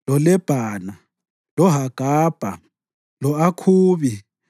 loLebhana, loHagabha, lo-Akhubi,